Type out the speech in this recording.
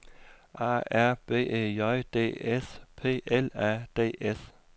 A R B E J D S P L A D S